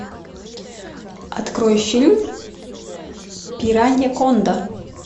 открой фильм пираньяконда